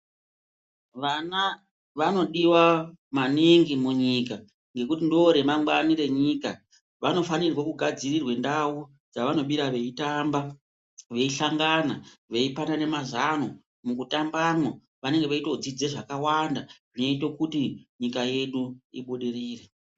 Vana vanodiwa maningi munyika, ngekuti ndo remangwani renyika. Vanofanirwe kugadzirirwe ndau dzavanobira veyitamba, veyihlangana, veyipanane mazango. Mukutamba mo, vanenge veyitodzidza zvakawanda, zvinoyite kuti nyika yedu ibudirire.